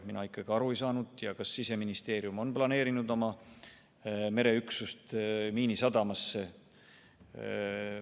Mina ikkagi aru ei saanud, kas Siseministeerium on planeerinud oma mereüksuse Miinisadamasse.